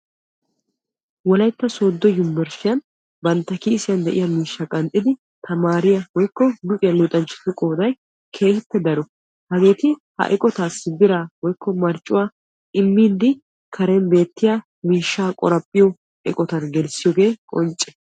Wolaytta soodon yunbbersttiyan bantta kiishshiya miishsha qanxxiddi tamariya woykko luxiya luxanchchatti keehi daro hageetti miishsha immiddi tamariyooge qoncce.